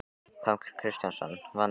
Páll Kristjánsson: Vanda?